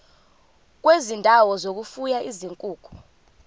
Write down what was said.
kwezindawo zokufuya izinkukhu